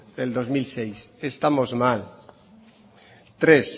del dos mil seis estamos mal tres